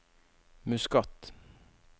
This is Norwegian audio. Muscat